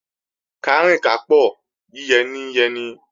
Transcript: Kárìn kápò, yíyẹ ní ń yẹni